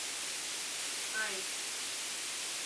аист